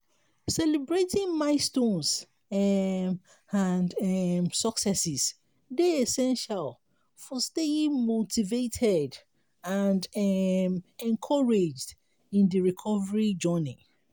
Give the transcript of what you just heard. celebrating milestones um and um successes dey essential for staying motivated and um encouraged in di recovery journey.